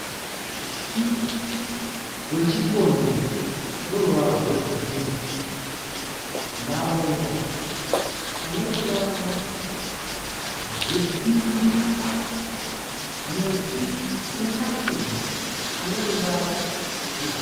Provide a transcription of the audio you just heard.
Muti wechikonde une ruvara rwegirini . Maruva ane ruvara rwepingi, muti une mashizha ane ruvara rwegi